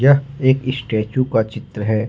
यह एक स्टेचू का चित्र है।